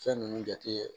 Fɛn ninnu jate